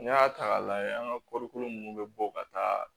N'i y'a ta k'a lajɛ an ka kɔrikolo ninnu bɛ bɔ ka taa